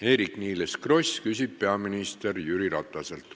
Eerik-Niiles Kross küsib peaminister Jüri Rataselt.